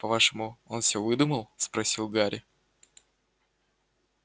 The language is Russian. по-вашему он всё выдумал спросил гарри